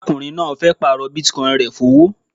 Arákùnrin náà fẹ́ pààrọ̀ Bitcoin rẹ̀ fówó